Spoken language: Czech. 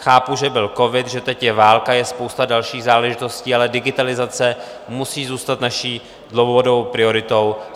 Chápu, že byl covid, že teď je válka, je spousta dalších záležitostí, ale digitalizace musí zůstat naší dlouhodobou prioritou.